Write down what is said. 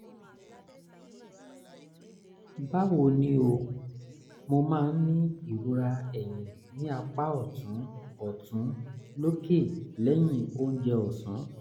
báwo ni o? mo máa ń ní ìrora ẹ̀yìn ní apá ọ̀tún ọ̀tún lókè lẹ́yìn oúnjẹ ọ̀sán